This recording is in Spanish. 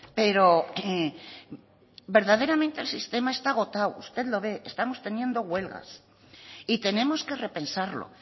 pero verdaderamente el sistema está agotado usted lo ve estamos teniendo huelgas y tenemos que repensarlo